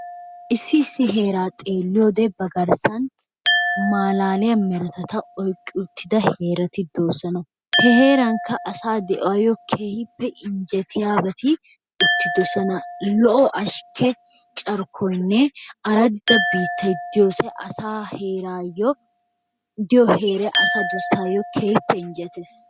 Issi issi heeraa xeelliyoodee ba garssan maalaaliya meretata oyqqi uttida heerati de'oosona. He heerankka asaa de"uwaayo keehippe injjetiyaabati uttidosona. Lo"o ashkke carkkoynne aradda biittay de"iyoosay asaa heeraayyo diyo heeray asa duussaayyo keehippe injjetees.